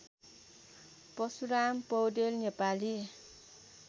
Parshuram Paudel Nepali